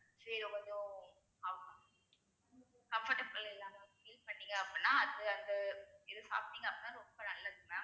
சரி கொஞ்சம் comfortable இல்லாம feel பண்ணீங்க அப்டினா அது அது இது சாப்பிட்டிங்க அப்டினா ரொம்ப நல்லது mam